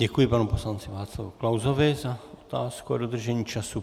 Děkuji panu poslanci Václavu Klausovi za otázku a dodržení času.